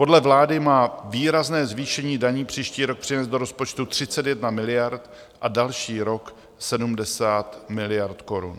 Podle vlády má výrazné zvýšení daní příští rok přinést do rozpočtu 31 miliard a další rok 70 miliard korun.